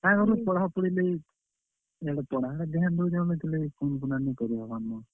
ପଢାପୁଢି ଲାଗି, ଇଆଡେ ପଢାରେ ଧ୍ୟାନ ଦେଉଛେଁ ବେଲେ ହେତିର୍ ଲାଗି phone ଫୁନା ନି କରିହେବାର୍ ନ।